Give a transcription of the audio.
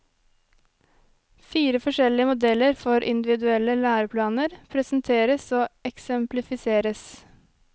Fire forskjellige modeller for individuelle læreplaner presenteres og eksemplifiseres.